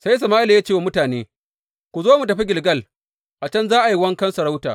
Sai Sama’ila ya ce wa mutane, Ku zo mu tafi Gilgal, a can za a yi wankan sarauta.